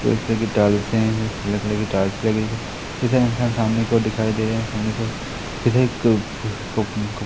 फूल सी लगी टाइल्स है ब्लैक कलर कि टाइल्स लगी हुई है जैसे इंसान सामने की ओर दिखाई दे रहे हैं सामने की ओर जैसे --